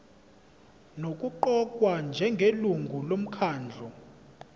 nokuqokwa njengelungu lomkhandlu